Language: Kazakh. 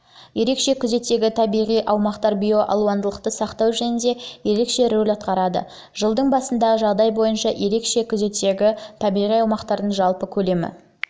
ерекше күзеттегі табиғи аумақтар биоалуандылықты сақтау жөнінен ерекше рөл атқарады жылдың басындағы жағдай бойынша ерекше күзеттегі табиғи аумақтардың жалпы көлемі